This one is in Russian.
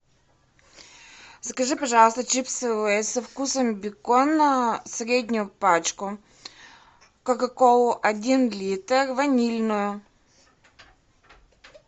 закажи пожалуйста чипсы лейс со вкусом бекона среднюю пачку кока колу один литр ванильную